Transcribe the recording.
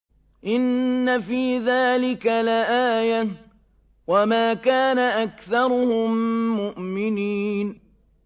إِنَّ فِي ذَٰلِكَ لَآيَةً ۖ وَمَا كَانَ أَكْثَرُهُم مُّؤْمِنِينَ